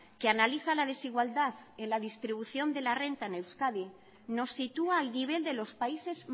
que analiza la desigualdad en la distribución de la renta en euskadi nos sitúa al nivel de los países